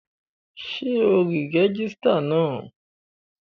Ṣé ò rí rẹ́gísírà náà?